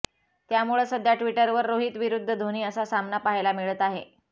यामुळं सध्या ट्विटरवर रोहित विरुद्ध धोनी असा सामना पाहायला मिळत आहे